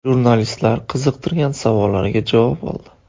Jurnalistlar qiziqtirgan savollariga javob oldi.